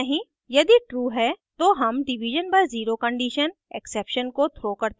यदि true है तो हम division by zero condition exception को throw करते हैं